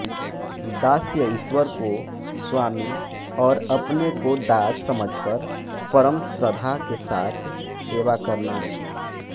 दास्य ईश्वर को स्वामी और अपने को दास समझकर परम श्रद्धा के साथ सेवा करना